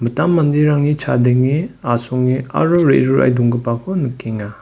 mittam manderangni chadenge asonge aro re·rurae donggipako nikenga.